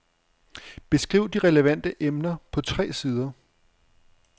Beskriv de relevante emner på tre sider.